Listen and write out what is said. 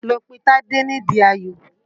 Lọ pe Tádé nídi Ayò!